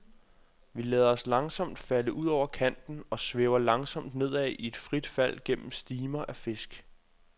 Vi lader os langsomt falde ud over kanten og svæver langsomt nedad i et frit fald gennem stimer af fisk.